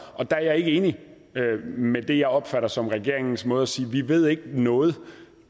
og der er jeg ikke enig med det jeg opfatter som regeringens måde at sige på vi ved ikke noget